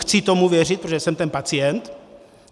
Chci tomu věřit, protože jsem ten pacient.